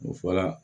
U fɔla